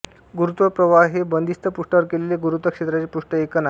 गुरुत्व प्रवाह हे बंदिस्त पृष्ठावर केलेले गुरुत्व क्षेत्राचे पृष्ठ ऐकन आहे